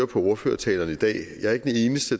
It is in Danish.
på ordførertalerne i dag